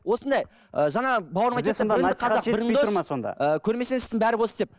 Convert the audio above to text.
осындай ы жаңағы бауырым айтады да біріңді қазақ бірің дос көрмесең істің бәрі бос деп